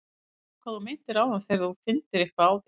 Ég skil hvað þú meintir áðan með að þú finndir eitthvað á þér.